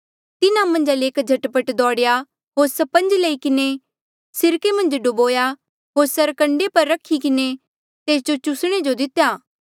तिन्हा मन्झा ले एक झट पट दोड़ेया होर स्पंज लई किन्हें सिरके मन्झ डूबोया होर सरकंडे पर रखी किन्हें तेस जो चुसणे जो दितेया